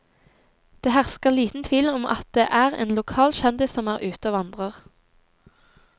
Det hersker liten tvil om at det er en lokal kjendis som er ute og vandrer.